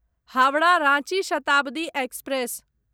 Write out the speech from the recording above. Howrah Ranchi Shatabdi express